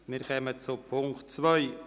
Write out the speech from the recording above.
Wir kommen zu Punkt 2.